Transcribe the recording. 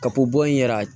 Ka ko bɔ in yɛrɛ